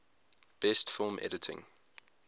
best film editing